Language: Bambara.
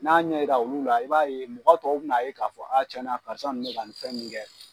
N'a y'a ɲɛ jira olu la, i b'a ye mɔgɔ tɔw bɛn'a ye k'a fɔ aa karisa ninnu bɛ ka bin fɛn ninnu kɛ.